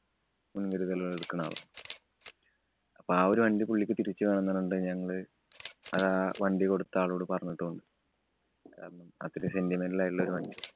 മുന്‍കരുതലുകള്‍ എടുക്കണ ആളാണ്. അപ്പോ ആ ഒരു വണ്ടി പുള്ളിക്ക് തിരിച്ചു വേണംന്ന് പറഞ്ഞിട്ട് ഞങ്ങള് അതാ ആ വണ്ടി കൊടുത്ത ആളോട് പറഞ്ഞിട്ടും ഉണ്ട്. കാരണം അതൊരു sentimental ആയിട്ടുള്ള വണ്ടിയാ.